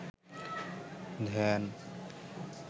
ধ্যান